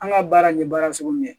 An ka baara in ye baara sugu min ye